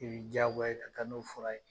I be diyagoya i ka taa n'o fura in ye.